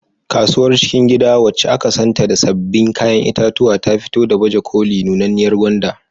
Kasuwar cikin gida, wacce aka santa da sabbin kayan itatuwa, ta fito da baje koli nunanniyar gwanda.